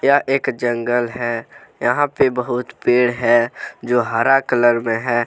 यह एक जंगल है यहां पे बहुत पेड़ है जो हरा कलर में है।